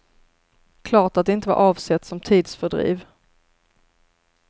Klart att det inte var avsett som tidsfördriv.